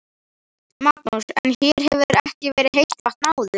Magnús: En hér hefur ekki verið heitt vatn áður?